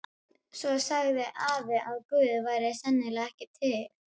Svo sagði afi að Guð væri sennilega ekki til.